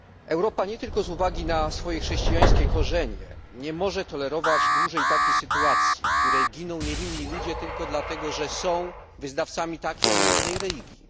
Europa, nie tylko z uwagi na swoje chrześcijańskie korzenie, nie może tolerować dłużej takiej sytuacji, w której giną niewinni ludzie tylko dlatego, że są wyznawcami takiej, a nie innej religii.